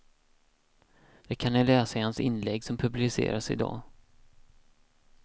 Det kan ni läsa i hans inlägg som publiceras idag.